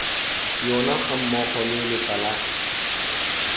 yona gammogo le letla la